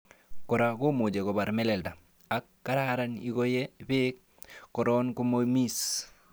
Kora komuche kobar meleldaa, ak kararan ingoyee beek koroon komoomis.